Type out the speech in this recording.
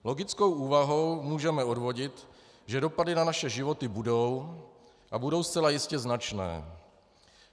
Logickou úvahou můžeme odvodit, že dopady na naše životy budou, a budou zcela jistě značné.